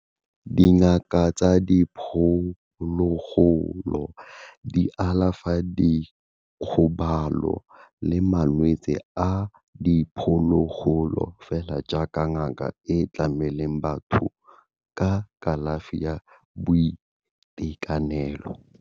Dingaka tsa diphologolo di alafa dikgobalo le malwetse a diphologolo fela jaaka ngaka e tlamela batho ka kalafi ya boitekanelo.